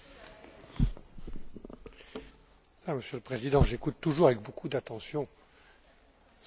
Monsieur le Président, j'écoute toujours avec beaucoup d'attention ce que disent les députés au Parlement européen.